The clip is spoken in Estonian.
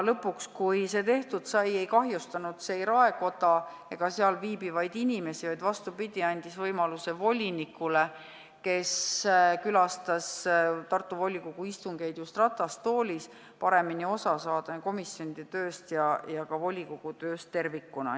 Lõpuks, kui see tehtud sai, ei kahjustanud see ei raekoda ega seal viibivaid inimesi, vaid andis, vastupidi, võimaluse volinikule, kes külastas Tartu volikogu istungeid just ratastoolis, paremini osa saada komisjonide tööst ja ka volikogu tööst tervikuna.